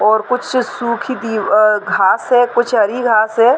और कुछ सुखी की अ घास है कुछ हरी घास है।